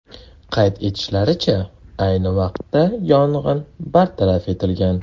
Qayd etilishicha, ayni vaqtda yong‘in bartaraf etilgan.